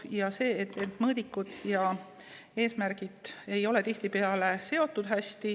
Tihtipeale ei ole mõõdikud ja eesmärgid omavahel hästi seotud.